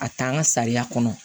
A t'an ka sariya kɔnɔ